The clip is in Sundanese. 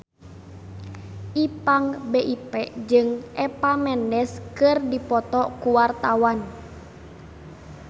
Ipank BIP jeung Eva Mendes keur dipoto ku wartawan